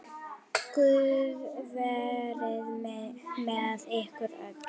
Guð verið með ykkur öllum.